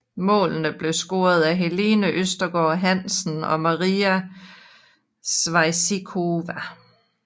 Målene blev scoret af Helene Østergaard Hansen og Maria Sevcikova